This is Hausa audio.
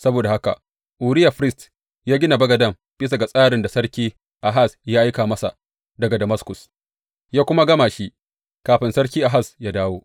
Saboda haka Uriya firist ya gina bagaden bisa ga tsarin da Sarki Ahaz ya aika masa daga Damaskus, ya kuma gama shi kafin Sarki Ahaz yă dawo.